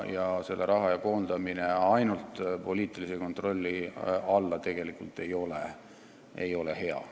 Selle raha jagamise koondamine ainult poliitilise kontrolli alla ei ole tegelikult hea.